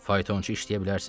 Faytonçu işləyə bilərsən?